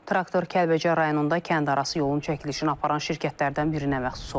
Traktor Kəlbəcər rayonunda kəndarası yolun çəkilişini aparan şirkətlərdən birinə məxsus olub.